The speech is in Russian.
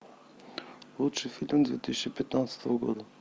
лучший фильм две тысячи пятнадцатого года